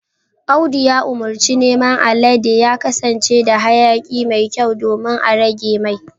Audu ya umurci naman alade ya kasance da hayaki mai kyau domin a rage mai